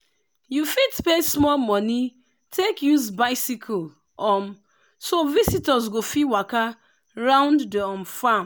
you fit pay small money take use bicycle um so visitors go fit waka round the um farm.